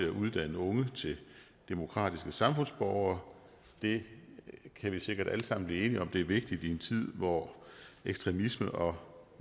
uddanne unge til demokratiske samfundsborgere det kan vi sikkert alle sammen blive enige om er vigtigt i en tid hvor ekstremisme og